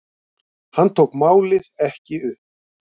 Hann tók málið ekki upp.